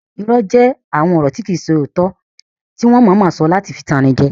Irọ́ jẹ́ àwọn ọ̀rọ̀ tí kìí ṣe òótọ́ tí wọ́n mọ̀ọ́mọ̀ sọ láti fi tan ni jẹ